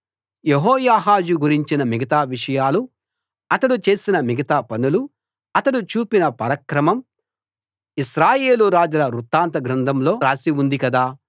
యెహోయాహాజు గురించిన మిగతా విషయాలు అతడు చేసిన మిగతా పనులు అతడు చూపిన పరాక్రమం ఇశ్రాయేలు రాజుల వృత్తాంత గ్రంథంలో రాసి ఉంది కదా